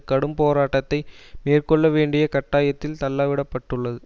கடும் போராட்டத்தை மேற்கொள்ள வேண்டிய கட்டாயத்தில் தள்ள விட பட்டுள்ளது